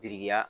Birikiya